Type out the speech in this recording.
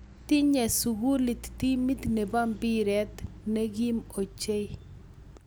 Tinye sukulit timit ne bo mpiret ne kim ochei